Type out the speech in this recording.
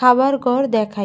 খাবার ঘর দেখায়।